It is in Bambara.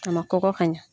A ma kɔgɔ ka ɲɛ